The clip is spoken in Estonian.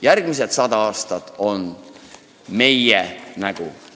Järgmised sada aastat on meie nägu!